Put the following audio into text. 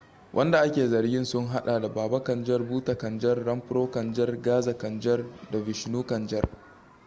wadanda ake zargin sun hada da baba kanjar bhutha kanjar rampro kanjar gaza kanjar da vishnu kanjar